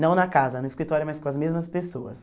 Não na casa, no escritório, mas com as mesmas pessoas.